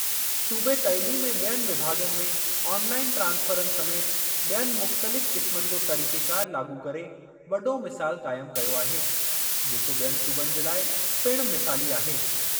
सूबे तइलीम ऐं बि॒यनि विभाग॒नि में ऑनलाइन ट्रांसफ़रनि समेति बि॒यनि मुख़्तलिफ़ क़िस्मनि जो तरीक़ेकार लाॻू करे वॾो मिसाल क़ाइम कयो आहे जेको बि॒यनि सूबनि जे लाइ पिणु मिसाली आहे।